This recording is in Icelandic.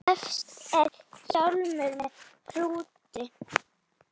Efst er hjálmur með hrúti.